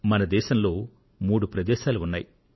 మన దేశంలో మూడు ప్రదేశాలు ఉన్నాయి